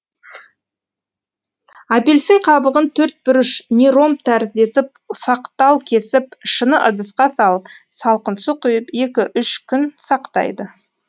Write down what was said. апельсин қабығын төртбұрыш не ромб тәрізді етіп ұсақтал кесіп шыны ыдысқа салып салқын су құйып екі үш күн сақтайды